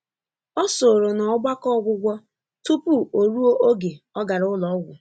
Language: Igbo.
Ọ sòrò n’ọgbakọ ọgwụgwọ tupu oruo oge ọ gàrà ụlọ ọgwụ.